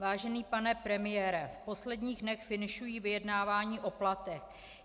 Vážený pane premiére, v posledních dnech finišují vyjednávání o platech.